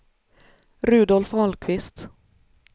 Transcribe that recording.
Rudolf Ahlqvist